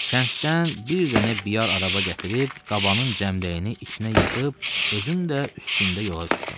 Kənddən bir dənə biyar araba gətirib, qabanın cəmdəyini içinə yıxıb, özüm də üstündə yola düşdüm.